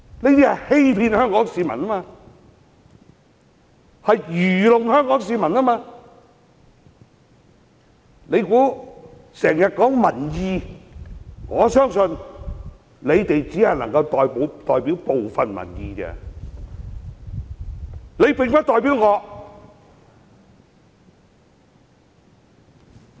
反對派經常說他們代表民意，我相信他們只能代表部分民意，他們並不代表我。